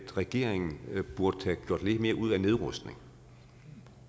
at regeringen burde have gjort lidt mere ud af nedrustning